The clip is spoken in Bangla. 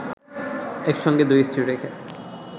একসঙ্গে দুই স্ত্রী রেখে